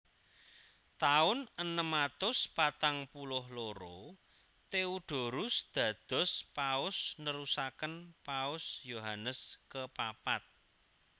Taun enem atus patang puluh loro Theodorus dados Paus nerusaken Paus Yohanes kepapat